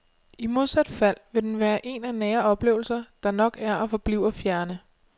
I modsat fald vil den være en af nære oplevelser, der nok er og forbliver fjerne.